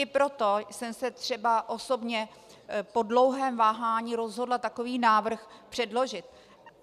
I proto jsem se třeba osobně po dlouhém váhání rozhodla takový návrh předložit.